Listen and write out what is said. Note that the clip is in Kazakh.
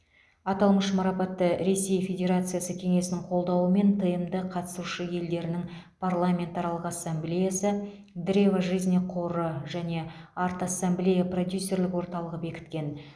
аталмыш марапатты ресей федерациясы кеңесінің қолдауымен тмд қатысушы елдерінің парламентаралық ассамблеясы древо жизни қоры және арт ассамблея продюсерлік орталығы бекіткен